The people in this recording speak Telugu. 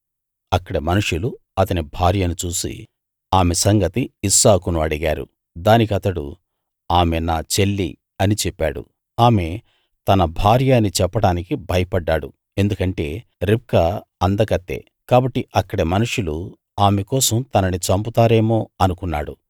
అక్కడి మనుషులు అతని భార్యను చూసి ఆమె సంగతి ఇస్సాకును అడిగారు దానికతడు ఆమె నా చెల్లి అని చెప్పాడు ఆమె తన భార్య అని చెప్పడానికి భయపడ్డాడు ఎందుకంటే రిబ్కా అందకత్తె కాబట్టి అక్కడి మనుషులు ఆమె కోసం తనని చంపుతారేమో అనుకున్నాడు